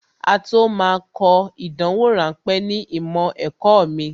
Á tó máa kọ ìdánwò ráńpẹ̀ ní ìmọ̀ ẹ̀kọ́ mi